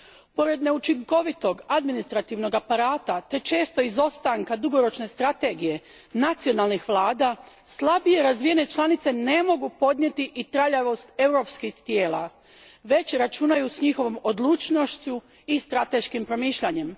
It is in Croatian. Pored neučinkovitog administrativnog aparata te često izostanka dugoročne strategije nacionalnih vlada slabije razvijene članice ne mogu podnijeti i traljavost europskih tijela, već računaju s njihovom odlučnošću i strateškim promišljanjem.